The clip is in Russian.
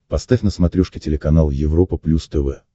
поставь на смотрешке телеканал европа плюс тв